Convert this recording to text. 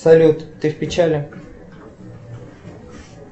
салют ты в печали